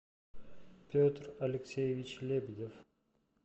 петр алексеевич лебедев